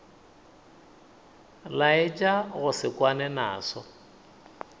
laetša go se kwane naso